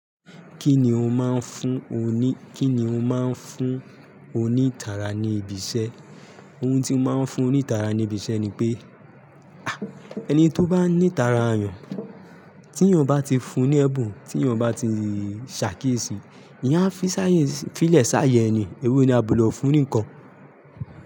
Kíni ó máa ń fún oní, kíni ó máa ń fún onítara ní ibi iṣẹ? Ohun tí mo máa ń fún onítara ní ibi iṣẹ́ ni pé, ah ẹni tó bá ní tara ayùn, tí èèyàn bá ti fún ní ẹ̀bùn, tí èèyàn bá ti ṣàkíyèsí, eyan a fí sáyé, fí lè sáayè ni, ewé ni a bu lò fún nkankan.